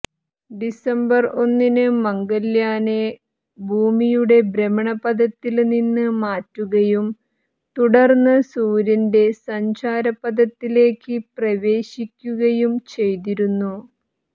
December ഒന്നിന് മംഗള്യാനെ ഭൂമിയുടെ ഭ്രമണപഥത്തില്നിന്ന് മാറ്റുകയും തുടര്ന്ന് സൂര്യന്റെ സഞ്ചാരപഥത്തിലേക്ക് പ്രവേശിക്കുകയും ചെയ്തിരുന്നു